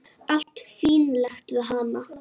Allt fínlegt við hana.